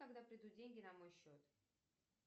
когда придут деньги на мой счет